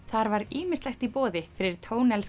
þar var ýmislegt í boði fyrir